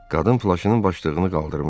Qadın plaşının başlığını qaldırmışdı.